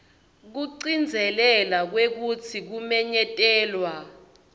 kugcizelela kwekutsi kumenyetelwa